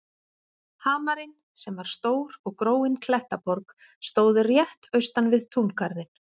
Hamarinn, sem var stór og gróin klettaborg, stóð rétt austan við túngarðinn.